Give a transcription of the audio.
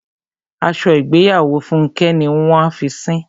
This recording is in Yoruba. Aṣọ ìgbéyàwó Fúnkẹ́ ni wọ́n a fi sín.